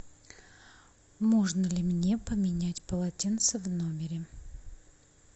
можно ли мне поменять полотенце в номере